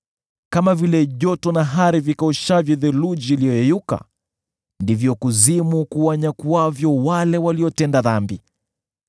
Kama vile joto na hari vinyakuavyo theluji iliyoyeyuka, ndivyo kuzimu kuwanyakuavyo waliotenda dhambi.